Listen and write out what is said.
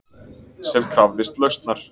Sem krafðist lausnar.